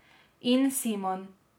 In Simon.